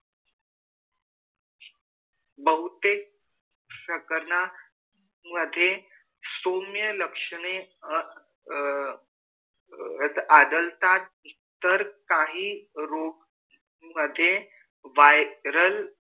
बहुतेक संकरन मधे सौम्य लक्षणे अ अ आदलतात तर काही रोग मधे viral